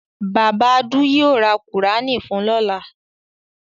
Bàbá Adu yóò ra Kùránì fun lọ́la.